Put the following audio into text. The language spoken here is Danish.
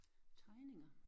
Tegninger